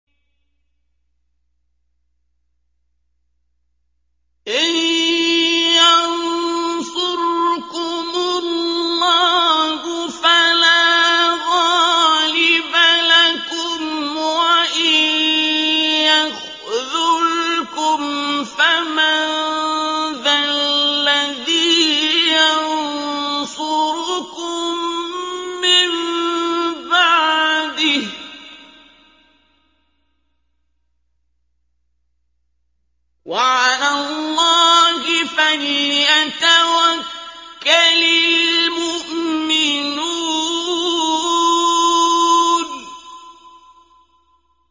إِن يَنصُرْكُمُ اللَّهُ فَلَا غَالِبَ لَكُمْ ۖ وَإِن يَخْذُلْكُمْ فَمَن ذَا الَّذِي يَنصُرُكُم مِّن بَعْدِهِ ۗ وَعَلَى اللَّهِ فَلْيَتَوَكَّلِ الْمُؤْمِنُونَ